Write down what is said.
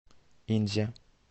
инзе